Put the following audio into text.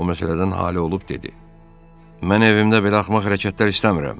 O məsələdən ali olub dedi: Mən evimdə belə axmaq hərəkətlər istəmirəm.